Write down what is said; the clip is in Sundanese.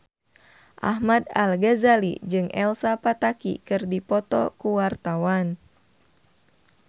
Ahmad Al-Ghazali jeung Elsa Pataky keur dipoto ku wartawan